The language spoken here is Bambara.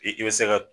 I i bɛ se ka